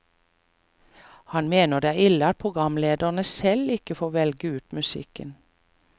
Han mener det er ille at programledere selv ikke får velge ut musikken.